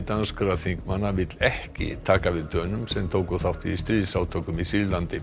danskra þingmanna vill ekki taka við Dönum sem tóku þátt í stríðsátökum í Sýrlandi